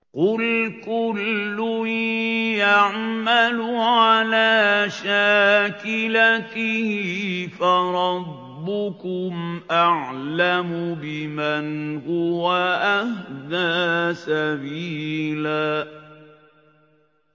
قُلْ كُلٌّ يَعْمَلُ عَلَىٰ شَاكِلَتِهِ فَرَبُّكُمْ أَعْلَمُ بِمَنْ هُوَ أَهْدَىٰ سَبِيلًا